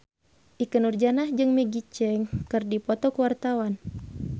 Ikke Nurjanah jeung Maggie Cheung keur dipoto ku wartawan